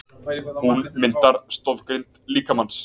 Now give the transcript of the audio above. Hún myndar stoðgrind líkamans.